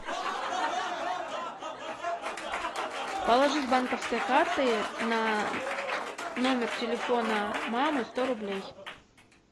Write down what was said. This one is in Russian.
положи с банковской карты на номер телефона мамы сто рублей